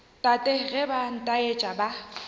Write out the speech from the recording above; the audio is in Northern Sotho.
tate ge ba nthasetša ba